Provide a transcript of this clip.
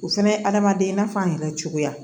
O fɛnɛ ye adamaden i n'a fɔ an yɛrɛ cogoya